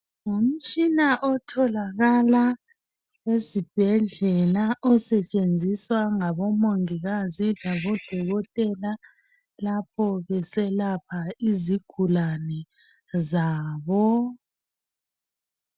Ngumtshina otholakala ezibhedlela osetshenziswa ngabomongikazi labodokotela lapho beselapha izigulane zabo.